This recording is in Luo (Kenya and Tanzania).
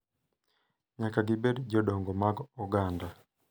Nyaka gibed jodongo mag oganda.